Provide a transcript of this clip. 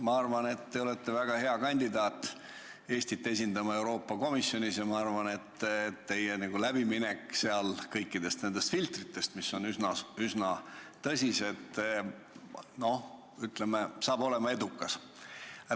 Ma arvan, et te olete väga hea kandidaat esindama Eestit Euroopa Komisjonis ja ma arvan, et teie läbiminek kõikidest nendest filtritest, mis on üsna tõsised, saab olema edukas.